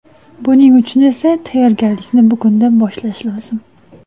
Buning uchun esa tayyorgarlikni bugundan boshlash lozim.